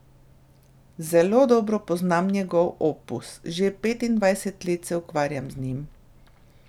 Zelo dobro poznam njegov opus, že petindvajset let se ukvarjam z njim.